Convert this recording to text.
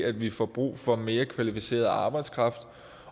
at vi får brug for mere kvalificeret arbejdskraft